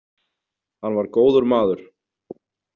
Hann var góður maður